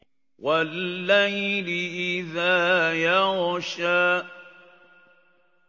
وَاللَّيْلِ إِذَا يَغْشَىٰ